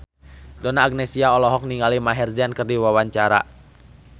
Donna Agnesia olohok ningali Maher Zein keur diwawancara